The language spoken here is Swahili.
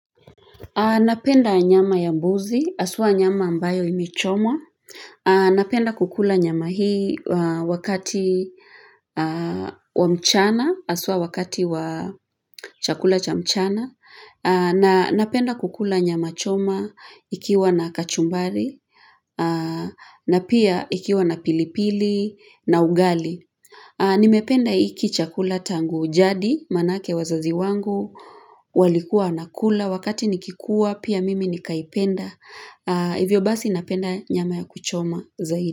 Napenda nyama ya mbuzi, haswa nyama ambayo imechomwa. Napenda kukula nyama hii wakati wa mchana, haswa wakati wa chakula cha mchana. Napenda kukula nyama choma ikiwa na kachumbari, na pia ikiwa na pilipili, na ugali. Nimependa iki chakula tangu ujadi, manake wazazi wangu, walikuwa wanakula, wakati nikikuwa, pia mimi nikaipenda, hivyo basi napenda nyama ya kuchoma zaidi.